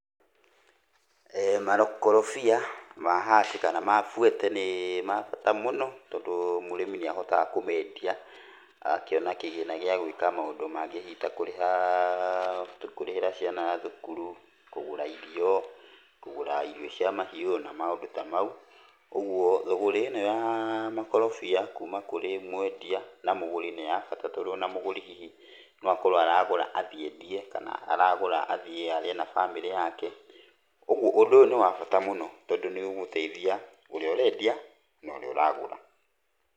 Makorobia ma haci kana ma fuete nĩ ma bata mũno, tondũ mũrĩmi nĩ ahotaga kũmendia, agakĩona kĩgĩna gĩa gwĩka maũndũ mangĩ hihi ta kũrĩha, kũrĩhĩra ciana thukuru, kũgũra irio, kũgũra irio cia mahiũ, na maũndũ ta mau. Ũguo thũgũrĩ ĩno ya makorobia kuuma kũrĩ mwendia na mũgũri nĩ ya bata tondũ ona mũgũri hihi no akorwo aragũra athiĩ endie, kana aragũra hihi athiĩ arĩe na bamĩrĩ yake. Ũguo ũndũ ũyũ nĩ wa bata mũno tondũ nĩ ũgũteithia ũrĩa ũrendia na ũrĩa ũragũra.